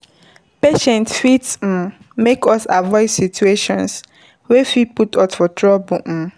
Patience fit make us avoid situation wey fit put us for trouble